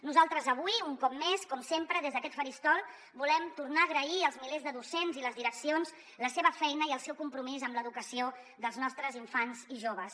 nosaltres avui un cop més com sempre des d’aquest faristol volem tornar a agrair als milers de docents i les direccions la seva feina i el seu compromís amb l’educació dels nostres infants i joves